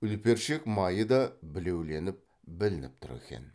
үлпершек майы да білеуленіп білініп тұр екен